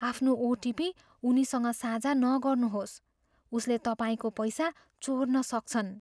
आफ्नो ओटिपी उनीसँग साझा नगर्नुहोस्। उसले तपाईँको पैसा चोर्न सक्छन्।